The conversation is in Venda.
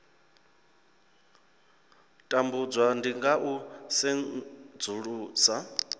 tambudzwa ndi nga u sedzulusa